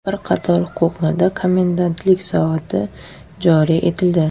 Bir qator hududlarda komendantlik soati joriy etildi.